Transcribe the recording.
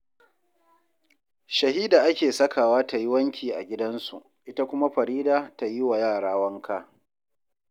Shahida ake sakawa ta yi wanki a gidansu, ita kuma Farida ta yi wa yara wanka